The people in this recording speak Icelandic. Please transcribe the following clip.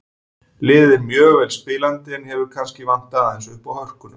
Liðið er mjög vel spilandi en hefur kannski vantað aðeins uppá hörkuna.